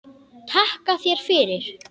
Takka þér fyrir